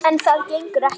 En það gengur ekki.